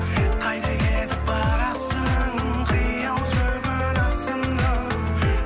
қайда кетіп барасың қиял жүгін асынып